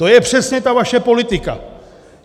To je přesně ta vaše politika.